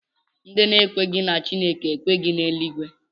Ndị na-ekweghị na Chineke ekweghị na Eluigwe